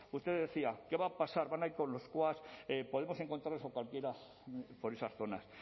usted decía quá va a pasar van a ir con los quads podemos encontrarnos a cualquiera por esas zonas